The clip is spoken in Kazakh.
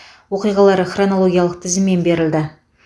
оқиғалар хронологиялық тізіммен берілді